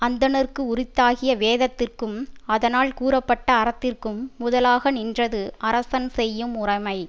அந்தணர்க்கு உரித்தாகிய வேதத்திற்கும் அதனால் கூறப்பட்ட அறத்திற்கும் முதலாக நின்றது அரசன் செய்யும் முறைமை